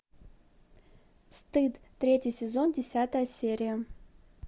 стыд третий сезон десятая серия